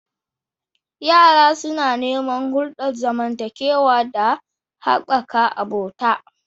Yara suna neman hulɗar zamantakewa da haɓaka abota.